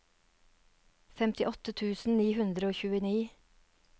femtiåtte tusen ni hundre og tjueni